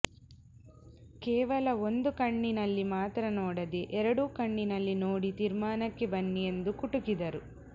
ಕೇವಲ ಒಂದು ಕಣ್ಣಿನಲ್ಲಿ ಮಾತ್ರ ನೋಡದೇ ಎರಡೂ ಕಣ್ಣಲ್ಲಿ ನೋಡಿ ತೀರ್ಮಾನಕ್ಕೆ ಬನ್ನಿ ಎಂದು ಕುಟುಕಿದರು